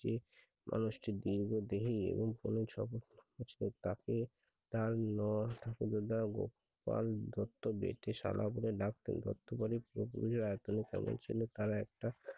সে মানুষটি দীর্ঘ দেহি এবং তাকে মা তার দত্ত বেঠে সাদা তার একটা